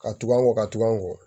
Ka tugun an kɔ ka tugu an kɔ